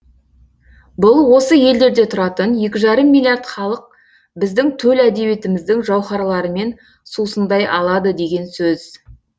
бұл осы елдерде тұратын екі жарым миллиард халық біздің төл әдебиетіміздің жауһарларымен сусындай алады деген сөз